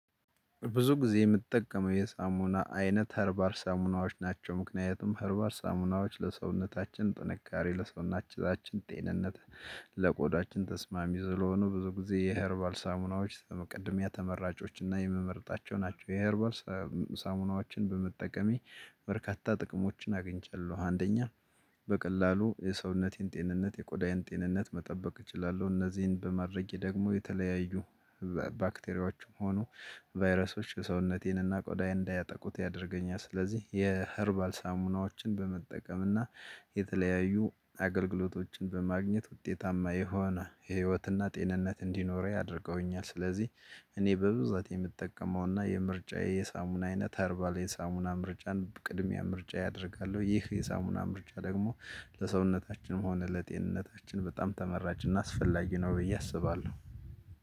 ብዙ ጊዜ የምጠቀመው የሳሙና አይነት ኸርባር ሳሙናዎች ናቸው ምክንያቱም ኸርባር ሳሙናዎች ለሰውነታችን ጥንካሬ ለሰውነታችን ጤንነት ለቆዳችን ተስማሚ ስለሆኑ ብዙ ጊዜ የኸርባል ሳሙናዎች ቅድሚያ ተመራጮች እና የምመርጣቸው ናቸው የኸርባል ሳሙ ሳሙናዎችን በመጠቀሜ በርካታ ጥቅሞችን አግኝቻለሁ። አንደኛ በቀላሉ የሰውነቴን ጤንነት የቆዳዬን ጤንነት መጠበቅ እችላለሁ። እነዚህን በማድረጌ ደግሞ የተለያዩ ባክቴሪያዎችም ሆኖ ቫይረሶች የሰውነቴንና ቆዳዬን እንዳያጠቁት ያደርገኛል። ስለዚህ የኸርባር ሳሙናዎችን በመጠቀምና የተለያዩ አገልግሎቶችን በማግኘት ውጤታማ የሆነ የህይወትና ጤንነት እንዲኖረው ያደርገውኛል። ስለዚህ እኔ በብዛት የምጠቀመውና የምርጫዬ የሳሙና አይነት ኸርባር የሳሙና ምርጫን ቅድሚያ ምርጫዬ አደርጋለው። ይህ የሳሙና ምርጫ ደግሞ ለሰውነታችንም ሆነ ለጤንነታችን በጣም ተመራጭና አስፈላጊ ነው ብዬ አስባለሁ።